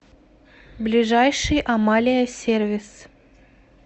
ближайший амалия сервис